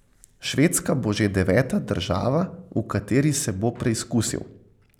Švedska bo že deveta država, v kateri se bo preizkusil.